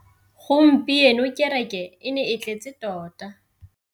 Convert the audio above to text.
Gompieno kêrêkê e ne e tletse tota.